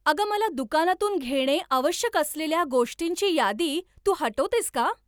अगं मला दुकानातून घेणे आवश्यक असलेल्या गोष्टींची यादी तू हटवतेस का?